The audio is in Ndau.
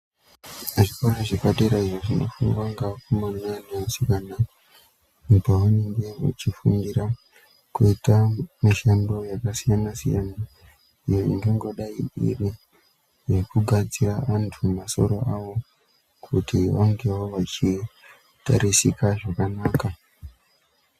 Zvikora zvepadera izvo zvinofundwa ngeakomana ngeasikana pavanenge vachifundira kuita mishando yakasiyana siyana iyo iingangodai iri yekugadzira antu masoro avo kuti vangewo vachitarisika zvakanaka.